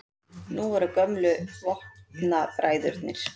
Nú voru gömlu vopnabræðurnir